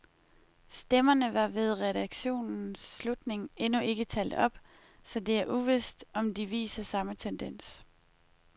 Stemmerne var ved redaktionens slutning endnu ikke talt op, så det er uvist, om de viser samme tendens.